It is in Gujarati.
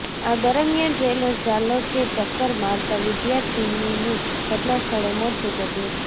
આ દરમિયાન ટ્રેલર ચાલકે ટક્કર મારતા વિદ્યાર્થીનીનું ઘટના સ્થળે મોત નીપજ્યું હતું